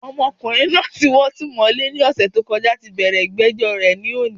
Ọmọkùnrin naa tí wọ́n ti mọ̀ Ilé ní òsè t'ó kọjá tí bẹ̀rẹ̀ ìgbéjó rè lónìí